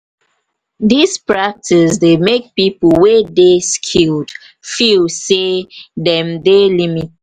this practice dey make pipo wey dey skilled feel sey dem dey limited